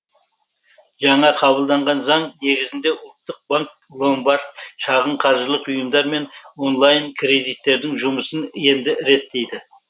жаңа қабылданған заң негізінде ұлттық банк ломбард шағын қаржылық ұйымдар мен онлайн кредиттердің жұмысын енді реттейді